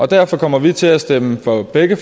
derfor kommer vi til at stemme for begge